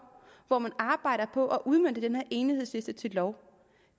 hvor man arbejder på at udmønte den her enighedsliste til lov